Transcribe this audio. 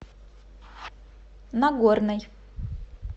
на горной